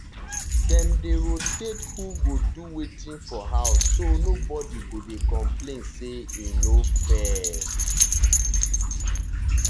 dem dey rotate who go do wetin for house so nobody go dey complain say e no fair.